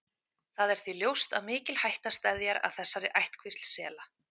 Það er því ljóst að mikil hætta steðjar að þessari ættkvísl sela.